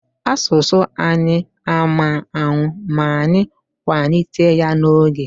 Asụsụ anyị ama nnwụ ma anyị kwanite ya n'oge.